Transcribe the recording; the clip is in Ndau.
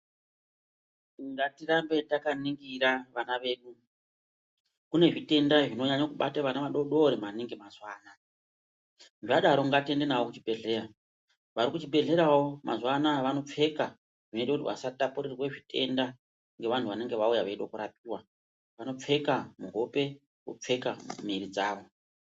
Ngatirambe takaningira vana vedu, kune zvitenda zvinonyanye kubata vana vadodori maningi mazuva anaya zvadaro ngatiende navo kuchibhedhleya vari kuchibhedhleyawo mazuva anaya vanopfeka zvinoita kuti vasatapurirwa zvitenda ngevantu vanenge vauye veide kurapiwa vanopfeka muhope vopfeka muiri dzavo.